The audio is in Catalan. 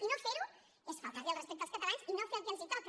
i no fer ho és faltar los el respecte als catalans i no fer el que els toca